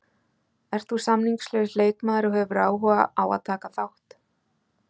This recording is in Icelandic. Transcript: Ert þú samningslaus leikmaður og hefur áhuga á að taka þátt?